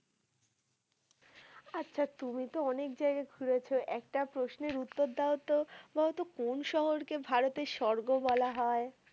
আচ্ছা তুমি তো অনেক জায়গা ঘুরেছ একটা প্রশ্নের উত্তর দাও তো। বলতো কোন শহরকে ভারতের সর্গ বলা হয়?